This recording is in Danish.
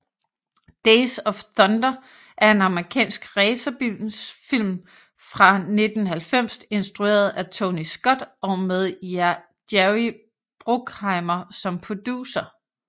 Days of Thunder er en amerikansk racerbilsfilm fra 1990 instrueret af Tony Scott og med Jerry Bruckheimer som producer